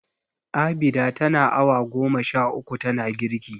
Abida tana awa goma sha uku tana girki.